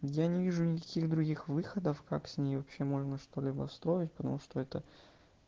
я не вижу никаких других выходов как с ней вообще можно что-либо строить потому что это